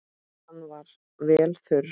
Hann var vel þurr.